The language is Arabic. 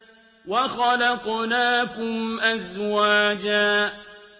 وَخَلَقْنَاكُمْ أَزْوَاجًا